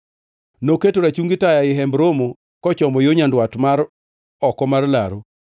Noketo rachungi taya ei Hemb Romo kochomo yo nyandwat mar oko mar laru,